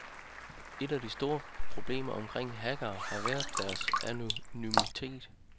Et af de store problemer omkring hackere har været deres anonymitet.